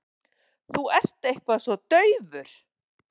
Þú ert eitthvað svo daufur.